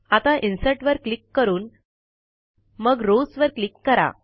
आता इन्सर्ट वर क्लिक करून मग रॉव्स वर क्लिक करा